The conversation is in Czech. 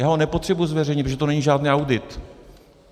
Já ho nepotřebuji zveřejnit, protože to není žádný audit.